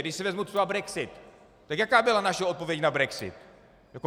Když si vezmu třeba brexit, tak jaká byla naše odpověď na brexit?